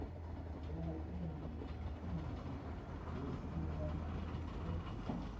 vhuiiti hu si na o